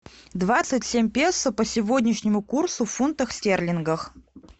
двадцать семь песо по сегодняшнему курсу в фунтах стерлингах